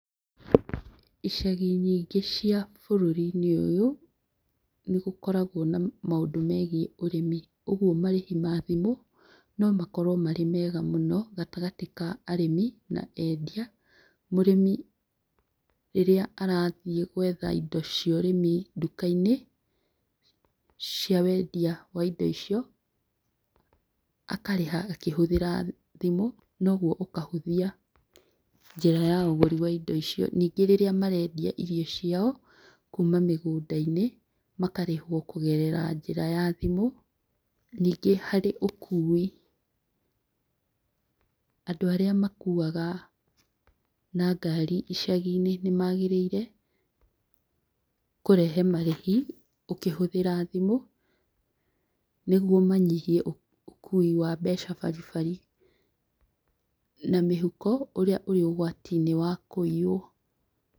Icagi nyingĩ cia bũrũri-inĩ ũyũ nĩ gũkoragwo na maũndũ megiĩ ũrĩmi, kwoguo marĩhi ma thimũ na makorwo marĩ mega mũno gatagatĩ ka arĩmi na endia, mũrĩmi rĩrĩa arathiĩ gwetha indo cia ũrĩmi nduka-inĩ cia wendia wa indo icio, akarĩha akĩhũthĩra thimũ noguo ũkahũthia njĩra ya ũgũri wa indo icio, ningĩ rĩrĩa marendia irio ciao kuma mũgũnda-inĩ makarĩhwo kũgerera njĩra ya thimũ, nĩngĩ harĩ ũkui andũ arĩa makuaga na ngari icagiinĩ magĩrĩire kũrehe marĩhi ũkĩhũthĩra thimũ nĩguo manyihie ũkũi wa mbeca baribari na mĩhuko ũrĩa ũrĩ ũgwati-inĩ wa kũiywo.